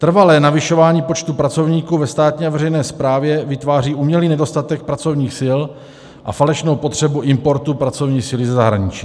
Trvalé navyšování počtu pracovníků ve státní a veřejné správě vytváří umělý nedostatek pracovních sil a falešnou potřebu importu pracovní síly ze zahraničí.